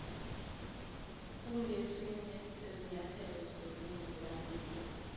kungesinye sezinyathelo zokulungelanisa